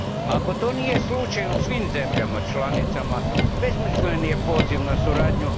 Ako to nije slučaj u svim zemljama članicama, besmislen je poziv na suradnju.